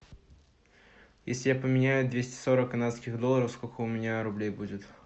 если я поменяю двести сорок канадских долларов сколько у меня рублей будет